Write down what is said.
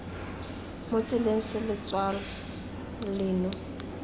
mo tseleng se letshwao leno